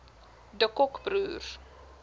de kock broers